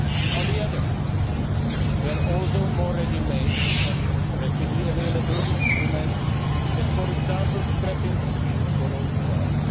On the other hand, there are also more ready made and rapidly available instruments, such as, for example, the scrapping scheme for old cars.